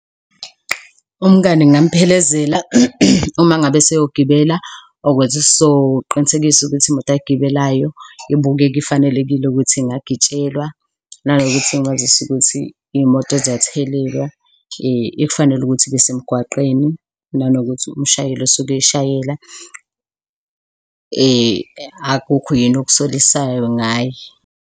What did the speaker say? Umngani ngingamuphelezela uma ngabe eseyogibela ukuze sizoqinisekisa ukuthi imoto ayigibelayo ibukeka ifanelekile ukuthi ingagitshelwa nanokuthi ngimazise ukuthi iy'moto ziyathelelwa, ekufanele ukuthi ibesemgwaqeni nanokuthi umshayeli osuke eshayela akukho yini okusolisayo ngaye.